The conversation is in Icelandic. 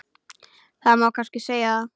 Það má kannski segja það.